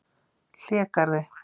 Hlégarði